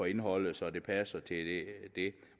indholdet så det passer til det